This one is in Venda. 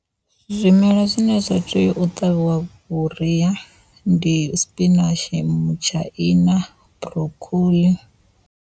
Zwimela zwine zwa tea u ṱavhiwa vhuria ndi sipinatshi, mutshaina, burokhoḽi.